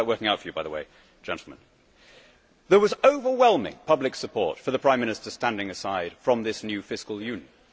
How is that working out for you by the way, gentlemen? There was overwhelming public support for the Prime Minister standing aside from this new fiscal union.